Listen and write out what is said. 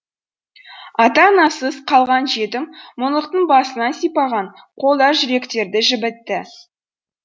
ата анасыз қалған жетім мұңлықтың басынан сипаған қолдар жүректерді жібітті